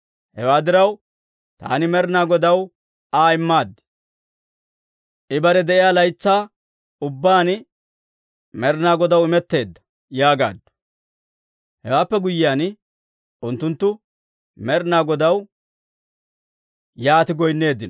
Hewaa diraw, taani Med'inaa Godaw Aa immaad; I bare de'o laytsaa ubbaan Med'inaa Godaw imetteedda» yaagaaddu. Hewaappe guyyiyaan, unttunttu Med'inaa Godaw yaati goynneeddino.